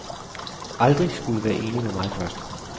Aldrig skulle være enig med mig først.